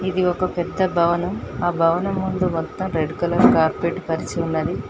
ఇది ఒక పెద్ద భవనం ఆ భవనం ముందు మొత్తం రెడ్ కలర్ కార్పెట్ పరిచి ఉన్నది.